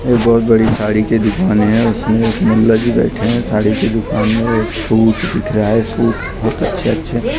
ये एक बहुत बड़ी साड़ी के दुकान है उसमें एक मुल्ला जी बैठे है साड़ी की दुकान है और सूट दिख रहा है सूट बहुत अच्छे अच्छे पीले --